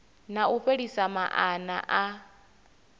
na u fhelisa maana a